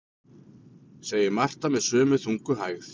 segir Marta með sömu þungu hægð.